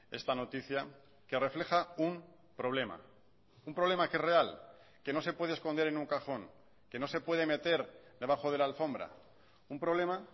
esta noticia que refleja un problema un problema que es real que no se puede esconder en un cajón que no se puede meter debajo de la alfombra un problema